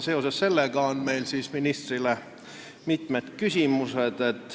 Seoses sellega on meil ministrile mitmed küsimused.